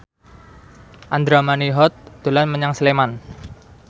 Andra Manihot dolan menyang Sleman